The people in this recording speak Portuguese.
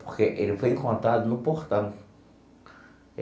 Porque ele foi encontrado no portão.